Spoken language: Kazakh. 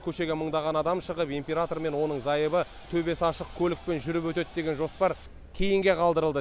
көшеге мыңдаған адам шығып император мен оның зайыбы төбесі ашық көлікпен жүріп өтеді деген жоспар кейінге қалдырылды